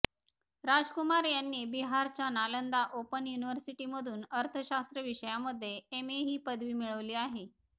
राज कुमार यांनी बिहारच्या नालंदा ओपन युनिव्हर्सिटीमधून अर्थशास्त्र विषयामध्ये एम ए ही पदवी मिळावली आहे